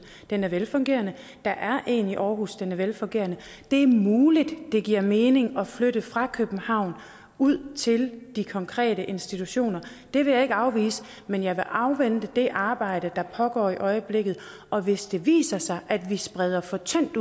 den er velfungerende der er en i aarhus den er velfungerende det er muligt at det giver mening at flytte fra københavn ud til de konkrete institutioner det vil jeg ikke afvise men jeg vil afvente det arbejde der pågår i øjeblikket og hvis det viser sig at vi spreder for tyndt